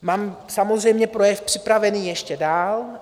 Mám samozřejmě projev připravený ještě dál.